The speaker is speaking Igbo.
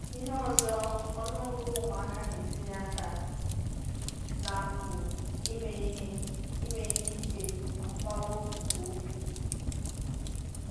Ihe ọzọ, ọnụ ọgụgụ ụmụaka na-etinye aka na mpụ ime ihe ime ihe ike amụbawo nke ukwuu.